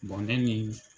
ne ni